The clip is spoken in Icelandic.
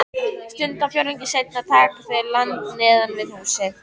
Stundarfjórðungi seinna taka þau land neðan við húsið.